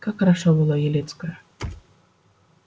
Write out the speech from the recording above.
как хороша была елецкая